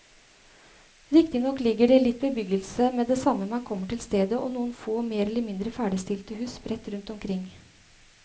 Riktignok ligger det litt bebyggelse med det samme man kommer til stedet og noen få mer eller mindre ferdigstilte hus sprett rundt omkring.